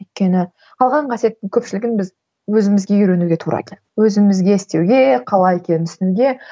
өйткені қалған қасиеттің көпшілігін біз өзімізге үйренуге тура келді өзімізге істеуге қалай екенін түсінуге